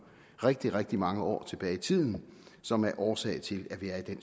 rigtig rigtig mange år tilbage i tiden som er årsag til at vi er i den